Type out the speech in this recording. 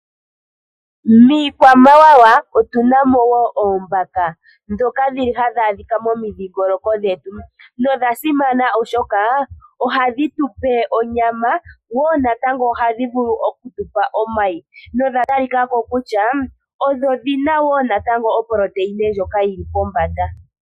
Miikwamawawa otuna mo wo oombaka ndhoka dhili hadhi adhika momi dhiingoloko dhetu. Odha simana oshoka ohadhi tupe onyama nohadhi vulu okutupa omayi. Odha talikako kutya odhina iitungithilutu yili pombanda.